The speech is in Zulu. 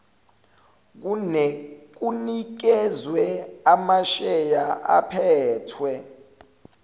kunikezwe amasheya aphethwe